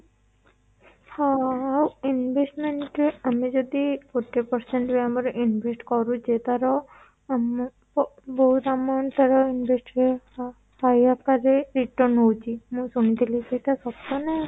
ହଁ investment ରେ ଆମେ ଯଦି forty percent ଆମେ invest କରୁଛେ ତା ର ଆମ ବହୁତ amount ତା ର invest ବି return ହଉଚି ମୁଁ ଶୁଣିଥିଲି ସେଇଟା ସତ ନା